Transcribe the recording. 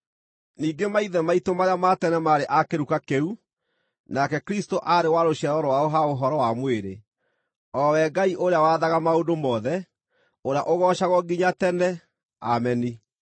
Ningĩ maithe maitũ marĩa ma tene maarĩ a kĩruka kĩu, nake Kristũ aarĩ wa rũciaro rwao ha ũhoro wa mwĩrĩ, o we Ngai ũrĩa wathaga maũndũ mothe, ũrĩa ũgoocagwo nginya tene! Ameni.